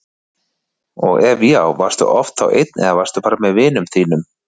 og ef já, varstu oft þá einn eða varstu bara með vinum þínum?